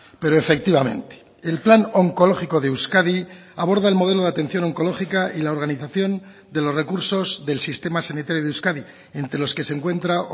pero efectivamente el plan oncológico de euskadi aborda el modelo de atención oncológica y la organización de los recursos del sistema sanitario de euskadi entre los que se encuentra